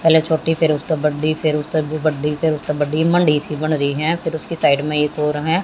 पहले चोटी फिर उसते बड्डी फिर उसते भी बड्डी मंडी सी बनरही है फिर उसक साइड मे एक ओर है।